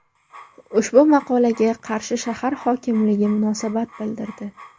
Ushbu maqolaga Qarshi shahar hokimligi munosabat bildirdi.